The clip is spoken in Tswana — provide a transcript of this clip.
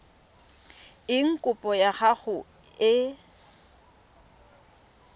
eng kopo ya gago e